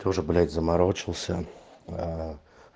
тоже блять заморочился